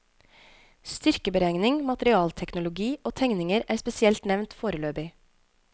Styrkeberegning, materialteknologi og tegninger er spesielt nevnt foreløpig.